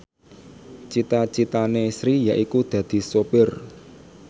cita citane Sri yaiku dadi sopir